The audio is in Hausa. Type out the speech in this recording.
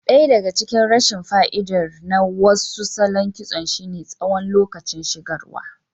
Ɗaya daga cikin rashin fa'idar na wasu salon kitson shine tsawon lokacin shigarwa.